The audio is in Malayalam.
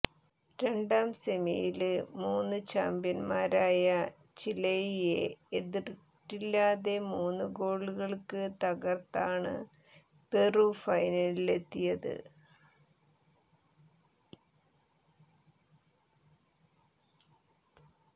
രണ്ടാം സെമിയില് മുന് ചാംപ്യന്മാരായ ചിലെയെ എതിരില്ലാത്ത മൂന്നു ഗോളുകള്ക്ക് തകര്ത്താണ് പെറു ഫൈനലിലെത്തിയത്